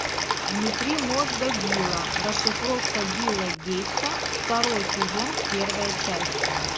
внутри мозга билла расшифровка билла гейтса второй сезон первая часть